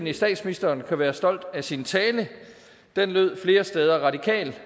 at statsministeren kan være stolt af sin tale den lød flere steder ret